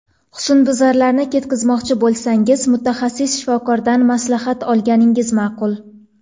Husnbuzarlarni ketkazmoqchi bo‘lsangiz, mutaxassis shifokordan maslahat olganingiz ma’qul.